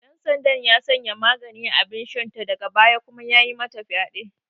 Ɗansandan ya sanya magani a abinshanta daga baya kuma yayi mata fyaɗe.